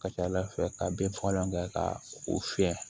Ka ca ala fɛ ka bin fagalan kɛ ka o fiyɛ